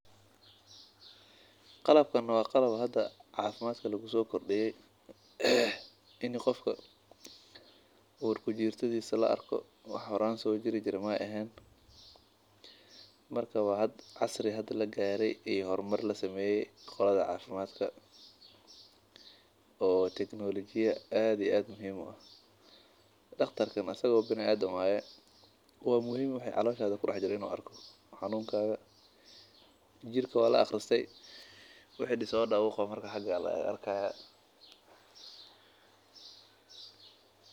Qalabkan waa qalab cafimaadka laguso kordiye in qofka uu kujirtiisa la arko wax jiri jire maahan waxa wax muhiim ah in la arko xanunnkada xagaas ayaa laga arkaaya.